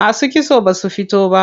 Masu kitso basu fito ba.